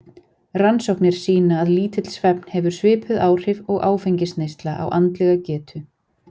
Rannsóknir sýna að lítill svefn hefur svipuð áhrif og áfengisneysla á andlega getu.